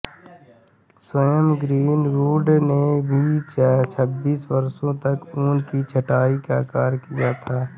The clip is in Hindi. स्वयं ग्रीनवुड ने भी छबीस वर्षों तक ऊन की छंटाई का कार्य किया था